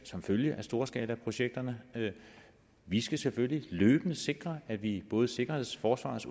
som følge af storskalaprojekterne vi skal selvfølgelig løbende sikre at vi både sikkerheds forsvars